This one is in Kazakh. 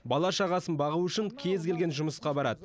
бала шағасын бағу үшін кез келген жұмысқа барады